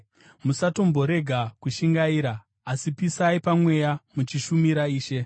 Musatomborega kushingaira, asi pisai pamweya, muchishumira Ishe.